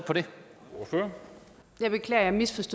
ser